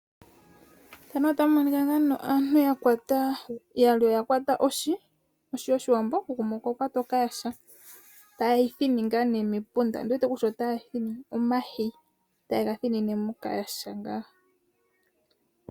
Oohi yoshiwambo ohayi thinwa omayi taga thininwa mokayaha okuza mepunda lohi opo yavule okukatula omayi ngano momeya opo ga vule okuka etapo oohi ooshona.